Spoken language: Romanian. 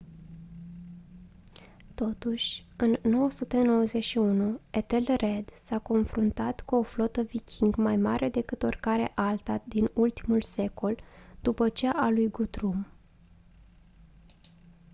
totuși în 991 ethelred s-a confruntat cu o flotă viking mai mare decât oricare alta din ultimul secol după cea a lui guthrum